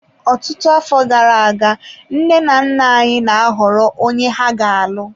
Ọtụtụ afọ gara aga, nne na nna, anyị na-ahọrọ onye ha ga-alụ.